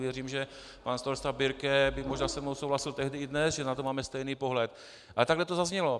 Věřím, že pan starosta Birke by možná se mnou souhlasil tehdy i dnes, že na to máme stejný pohled, ale takhle to zaznělo.